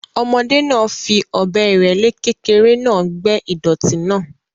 Ọmọdé náà fi ọ̀bẹ ìrẹ́le kékeré náà gbẹ́ ìdọ̀tí náà.